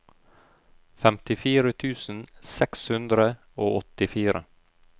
femtifire tusen seks hundre og åttifire